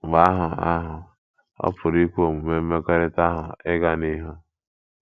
Mgbe ahụ ahụ, ọ pụrụ ikwe omume mmekọrịta ahụ ịga n’ihu.